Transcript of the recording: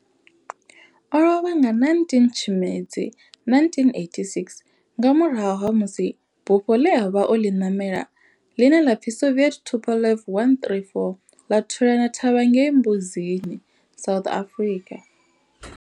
O lovha nga 19 Tshimedzi 1986 nga murahu ha musi bufho ḽe a vha o ḽi ṋamela, ḽine ḽa pfi Soviet Tupolev 134 ḽa thulana thavha ngei Mbuzini, South Africa.